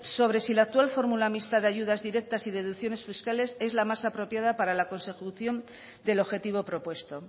sobre si la actual fórmula mixta de ayudas directas y deducciones fiscales es la más apropiada para la consecución del objetivo propuesto